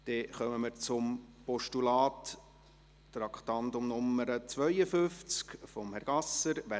Wir kommen zum Postulat von Herrn Gasser, unter dem Traktandum 52.